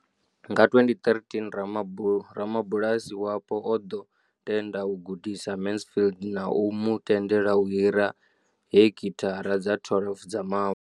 Nga 2013, rabulasi wapo o ḓo tenda u gudisa Mansfield na u mu tendela u hira heki thara dza 12 dza mavu.